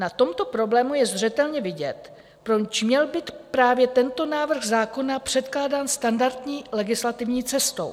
Na tomto problému je zřetelně vidět, proč měl být právě tento návrh zákona předkládán standardní legislativní cestou.